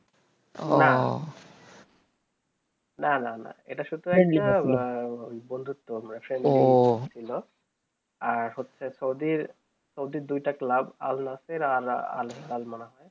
না না না এইটা শুধু একটা বন্ধুত্ব আর হয়েছে সৌদির সৌদি দুই তা club al naseer al hilal মনে হয়ে